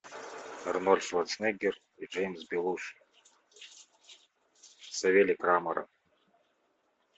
арнольд шварценеггер и джеймс белуши савелий крамаров